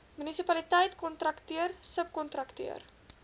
munisipaliteit kontrakteur subkontrakteur